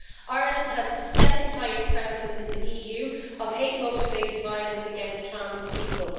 Ireland has the second highest prevalence in the EU of hate motivated violence against trans people.